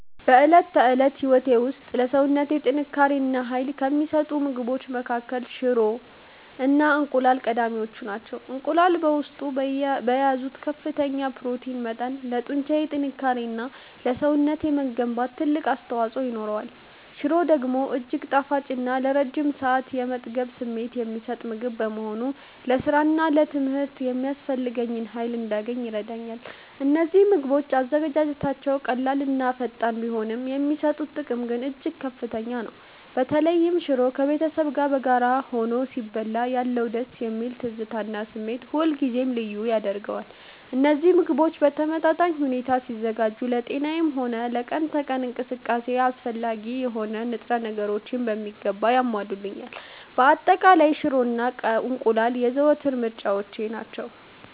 በዕለት ተዕለት ሕይወቴ ውስጥ ለሰውነቴ ጥንካሬ እና ኃይል ከሚሰጡኝ ምግቦች መካከል ሽሮ እና እንቁላል ቀዳሚዎቹ ናቸው። እንቁላል በውስጡ በያዘው ከፍተኛ የፕሮቲን መጠን ለጡንቻ ጥንካሬ እና ለሰውነቴ መገንባት ትልቅ አስተዋፅኦ ይኖረዋል። ሽሮ ደግሞ እጅግ ጣፋጭ እና ለረጅም ሰዓት የመጥገብ ስሜት የሚሰጥ ምግብ በመሆኑ ለሥራና ለትምህርት የሚያስፈልገኝን ኃይል እንዳገኝ ይረዳኛል። እነዚህ ምግቦች አዘገጃጀታቸው ቀላልና ፈጣን ቢሆንም፣ የሚሰጡት ጥቅም ግን እጅግ ከፍተኛ ነው። በተለይ ሽሮ ከቤተሰብ ጋር በጋራ ሆኖ ሲበላ ያለው ደስ የሚል ትዝታ እና ስሜት ሁልጊዜም ልዩ ያደርገዋል። እነዚህ ምግቦች በተመጣጣኝ ሁኔታ ሲዘጋጁ ለጤናዬም ሆነ ለቀን ተቀን እንቅስቃሴዬ አስፈላጊ የሆኑ ንጥረ ነገሮችን በሚገባ ያሟሉልኛል። በአጠቃላይ፣ ሽሮ እና እንቁላል የዘወትር ምርጫዎቼ ናቸው።